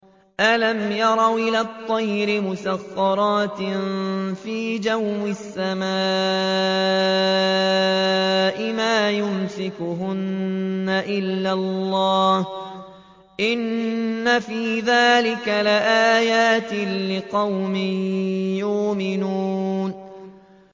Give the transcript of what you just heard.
أَلَمْ يَرَوْا إِلَى الطَّيْرِ مُسَخَّرَاتٍ فِي جَوِّ السَّمَاءِ مَا يُمْسِكُهُنَّ إِلَّا اللَّهُ ۗ إِنَّ فِي ذَٰلِكَ لَآيَاتٍ لِّقَوْمٍ يُؤْمِنُونَ